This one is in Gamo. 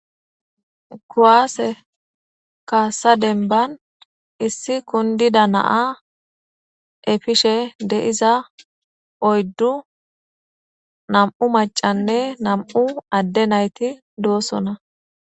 Kuaase kaasa demban issi kundida na'a efishe deiza oyddu nam'u macanne nam'u adde nayti doosona.